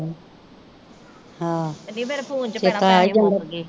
ਅੰਨੀਏ ਭੈਣਾਂ ਮੇਰੇ ਫੋਨ ਚੋ ਪੈਸੇ ਮੁੱਕ ਗਏ।